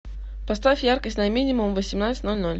поставь яркость на минимум в восемнадцать ноль ноль